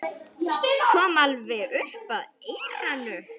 Kom alveg upp að eyranu.